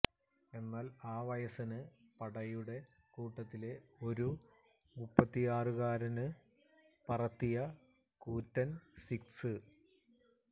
എന്നാല് ആ വയസന് പടയുടെ കൂട്ടത്തിലെ ഒരു മുപ്പത്തിയാറുകാരന് പറത്തിയ കൂറ്റന് സിക്സ്